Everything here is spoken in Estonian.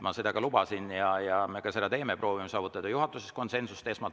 Ma seda lubasin ja me seda ka teeme, et proovime esmalt saavutada juhatuses konsensuse.